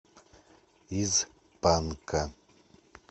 из панка